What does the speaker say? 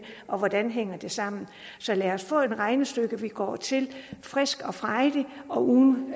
og hvordan det hænger sammen så lad os få et regnestykke vi går til frisk og frejdigt og uden